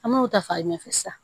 An m'o ta fayiɲɛ fɛ sisan